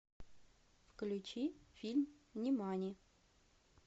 включи фильм нимани